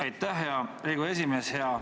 Aitäh, hea Riigikogu esimees!